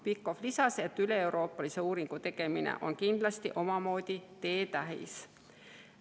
Pikhof lisas, et üleeuroopalise uuringu tegemine on kindlasti omamoodi teetähis.